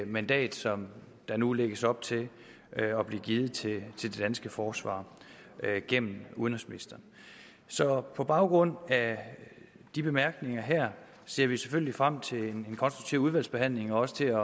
mandat som der nu lægges op til at blive givet til det danske forsvar gennem udenrigsministeren så på baggrund af de bemærkninger her ser vi selvfølgelig frem til en konstruktiv udvalgsbehandling og også til at